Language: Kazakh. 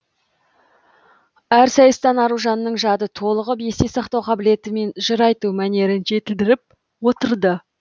әр сайыстан аружанның жады толығып есте сақтау қабілеті мен жыр айту мәнерін жетілдіріп отырды